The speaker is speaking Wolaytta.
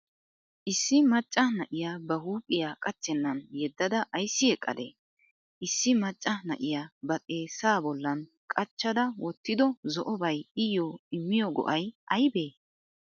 issi macaa naa7iya ba huphiya qachcheennan yeedada aysi eqqadee? issi maccaa naa7iya ba xeessaa bollan qachchadaa wotido zo7obay iyo immiyo go7ay aybee?